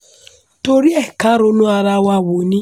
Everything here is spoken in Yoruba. tori ẹ karonu ara wa wo ni